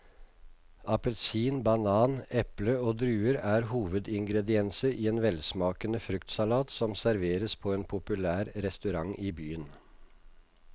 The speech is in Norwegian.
Appelsin, banan, eple og druer er hovedingredienser i en velsmakende fruktsalat som serveres på en populær restaurant i byen.